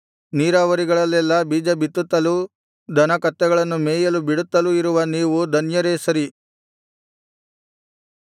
ನೀರಾವರಿಗಳಲ್ಲೆಲ್ಲಾ ಬೀಜ ಬಿತ್ತುತ್ತಲೂ ದನ ಕತ್ತೆಗಳನ್ನು ಮೇಯಲು ಬಿಡುತ್ತಲೂ ಇರುವ ನೀವು ಧನ್ಯರೇ ಸರಿ